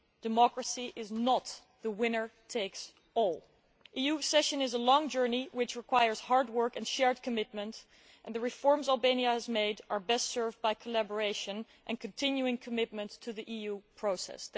Democracy is not winner takes all'. EU accession is a long journey which requires hard work and shared commitment, and the reforms Albania has made are best served by collaboration and continuing commitment to the EU process.